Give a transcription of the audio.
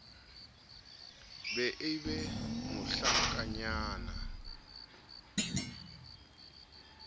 be e be mohlankanyana a